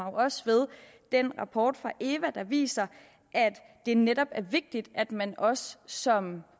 også ved den rapport fra eva der viser at det netop er vigtigt at man også som